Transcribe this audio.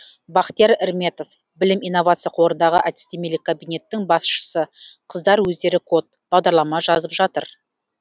бахтияр эрметов білім инновация қорыдағы әдістемелік кабинеттің басшысы қыздар өздері код бағдарлама жазып жатыр